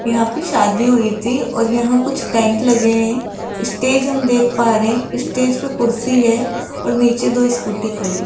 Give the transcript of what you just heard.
यहां पे शादी हुई थी और यहां कुछ टेंट लगे हैं स्टेज हम देख पा रे हैं स्टेज पे कुर्सी है और नीचे दो स्कूटी खड़ी --